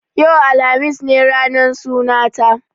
Yau, alhamis ne ranar sunanta.